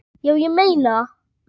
Já, ég meina það.